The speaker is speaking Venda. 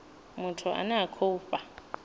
muthu ane a khou fha